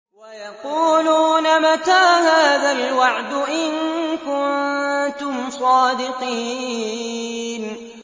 وَيَقُولُونَ مَتَىٰ هَٰذَا الْوَعْدُ إِن كُنتُمْ صَادِقِينَ